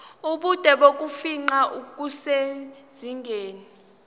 ubude bokufingqa kusezingeni